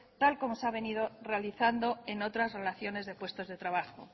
tal como se ha venido realizando en otras relaciones de puestos de trabajo